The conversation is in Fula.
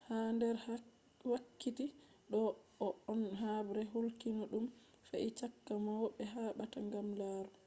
ha nder wakkiti ɗo on habre kulniiɗum fe'i caka mauɓe haɓata gam laamu